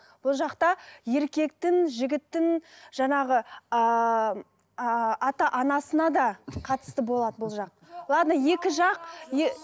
бұл жақта еркектің жігіттің жаңағы ыыы ата анасына да қатысты болады бұл жақ ладно екі жақ